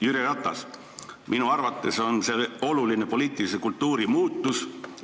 Jüri Ratas: "Minu arvates on see oluline poliitilise kultuuri suunamuutus.